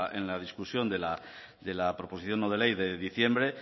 en la discusión de la proposición no de ley de diciembre